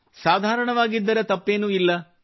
ಸಾಧಾರಣವಾಗಿದ್ದರೆ ತಪ್ಪೇನೂ ಇಲ್ಲ